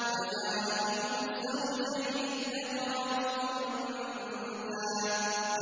فَجَعَلَ مِنْهُ الزَّوْجَيْنِ الذَّكَرَ وَالْأُنثَىٰ